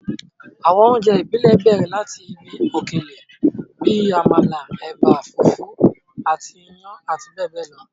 Àwọn oúnjẹ ìbílẹ̀ bẹ̀rẹ̀ láti ibi òkèlè bíi àmàlà, ẹ̀bà, fùfú àti iyán àti bẹẹ bẹẹ lọ.